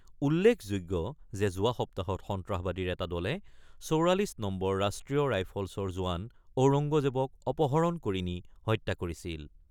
উল্লেখযোগ্য যে, যোৱা সপ্তাহত সন্ত্ৰাসবাদীৰ এটা দলে ৪৪ নম্বৰ ৰাষ্ট্ৰীয় ৰাইফলছৰ জোৱান ঔৰংগজেৱক অপহৰণ কৰি নি হত্যা কৰিছিল।